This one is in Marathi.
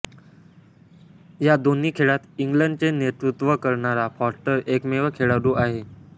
या दोन्ही खेळात इंग्लंडचे नेतृत्त्व करणारा फॉस्टर एकमेव खेळाडू आहे